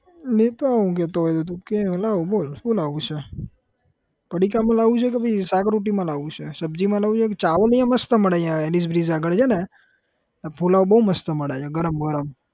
લેતો આવું કહેતો હોય તો તું કે એ લાવું બોલ શું લાવું છે પડીકામાં લાવું છે કે પહી શાક રોટલીમાં લાવું છે? સબ્જી માં લાવું છે કે ચાવલ અહીંયા મસ્ત મળે છે અહીંયા elis bridge આગળ છે ને ત્યાં પુલાવ બહુ મસ્ત મળે છે ગરમ ગરમ.